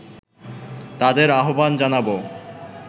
তাদের আহবান জানাবো